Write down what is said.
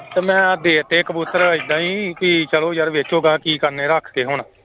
ਤੇ ਮੈਂ ਦੇ ਤੇ ਕਬੂਤਰ ਏਦਾਂ ਹੀ ਕਿ ਚਲੋ ਯਾਰ ਵੇਚੋ ਗਾਂਹ ਕੀ ਕਰਨੇ ਰੱਖ ਕੇ ਹੁਣ।